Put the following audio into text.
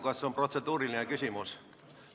Kas on protseduuriline küsimus?